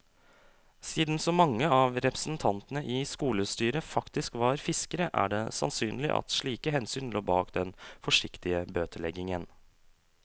Siden så mange av representantene i skolestyret faktisk var fiskere, er det sannsynlig at slike hensyn lå bak den forsiktige bøteleggingen.